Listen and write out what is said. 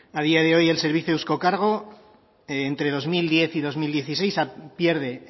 a día de hoy el servicio eusko kargo entre dos mil diez y dos mil dieciséis pierde